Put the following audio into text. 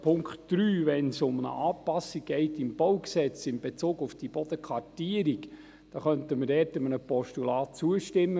Beim Punkt 3, wenn es um eine Anpassung im BauG geht, in Bezug auf die Bodenkartierung, könnten wir einem Postulat zustimmen.